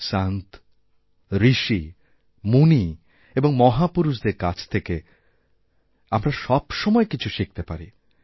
সন্ত ঋষি মুনি এবংমহাপুরুষদের কাছ থেকে আমরা সব সময় কিছু শিখতে পারি